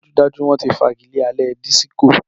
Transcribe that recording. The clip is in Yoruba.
Dájúdájú! Wọ́n ti fagilé alẹ́ disiko.